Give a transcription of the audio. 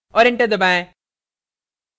और enter दबाएं